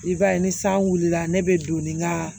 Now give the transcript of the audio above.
I b'a ye ni san wulila ne be don ni n ka